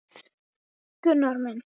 Þú ýtir upp á eitt. til að opna þetta.